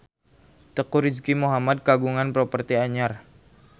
Teuku Rizky Muhammad kagungan properti anyar